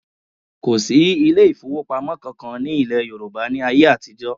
Kò sí ilé ìfowópamọ́ kankan ní ilẹ̀ Yorùbá ní ayé àtijọ́